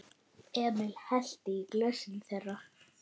Emil hellti í glösin þeirra.